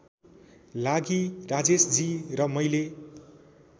लागि राजेशजी र मैले